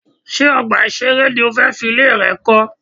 Ṣé ọgbà ìṣeré ni o fẹ́ fi ilẹ̀ rẹ kọ́?